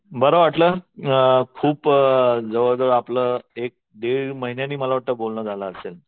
बरं वाटलं खूप अ जवळजवळ आपलं एक दीड महिन्यांनी मला वाटतं बोलणं झालं असेल